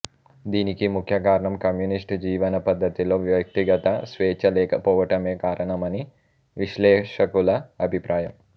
దీనికి ముఖ్య కారణం కమ్యూనిస్ట్ జీవన పద్ధతిలో వ్యక్తిగత స్వేచ్ఛ లేకపోవటమే కారణమని విశ్లేషకుల అభిప్రాయం